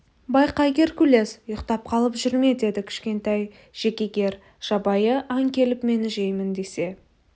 байқа геркулес ұйықтап қалып жүрме деді кішкентай джекегер жабайы аң келіп мені жеймін десе